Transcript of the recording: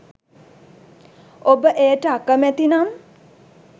ඔබ එයට අකමැති නම්